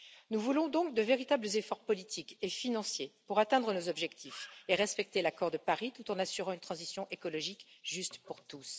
Nous voulons donc de véritables efforts politiques et financiers pour atteindre nos objectifs et respecter l'accord de Paris tout en assurant une transition écologique juste pour tous.